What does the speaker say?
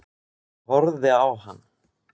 Ég horfði á hann.